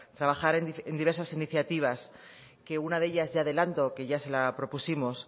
trabajar en diversas iniciativas que una de ellas ya adelanto que ya se la propusimos